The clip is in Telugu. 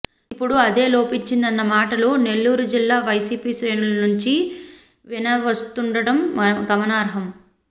ఇప్పుడు అదే లోపించిందన్న మాటలు నెల్లూరు జిల్లా వైసీపీ శ్రేణుల నుంచి వినవస్తుండటం గమనార్హం